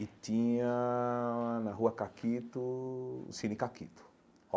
E tinha na Rua Caquito, o Cine Caquito.